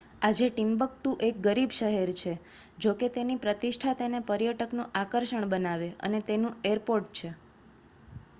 આજે ટિમ્બક્ટુ એક ગરીબ શહેર છે જોકે તેની પ્રતિષ્ઠા તેને પર્યટકનું આકર્ષણ બનાવે, અને તેનું એરપોર્ટ છે